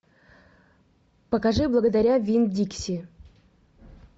покажи благодаря винн дикси